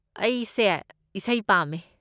ꯑꯩꯁꯦ ꯏꯁꯩ ꯄꯥꯝꯃꯦ꯫